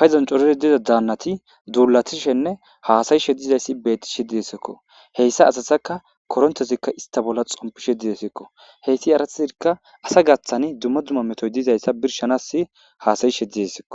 payzon corori diza daannati duulatishenne haasayishe dizayssi betti she didesekko heyssa asasaka korontozikka ista bolla xompishe didesekko heyti aratizikka asa gaththani dumma dumma metoy dizayssa birshanas haasayishe didesekko